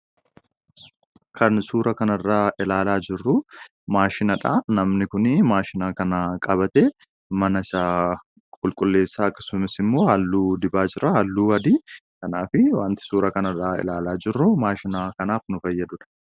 Kan suuraa kana irra jiru maashinii dha. Innis maashina qabatee mana isaa halluu dibaa kan jiruu dha.